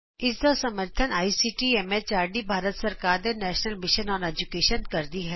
ਇਸ ਦਾ ਸਮਰੱਥਨ ਆਈਸੀਟੀ ਐਮ ਐਚਆਰਡੀ ਭਾਰਤ ਸਰਕਾਰ ਦੇ ਨੈਸ਼ਨਲ ਮਿਸ਼ਨ ਅੋਨ ਏਜੂਕੈਸ਼ਨ ਕਰਦੀ ਹੈ